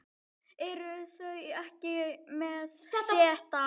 Eruð þið ekki með þetta?